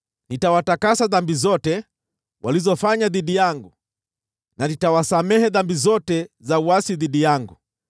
Nitawatakasa dhambi zote walizofanya dhidi yangu, na nitawasamehe dhambi zote za uasi dhidi yangu.